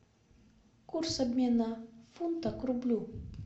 курс обмена фунта к рублю